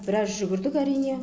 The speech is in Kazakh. біраз жүгірдік әрине